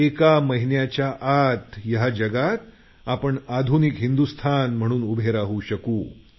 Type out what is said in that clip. एका महिन्याच्या आत आपण जगात आधुनिक हिंदुस्थान म्हणून उभे राहू शकू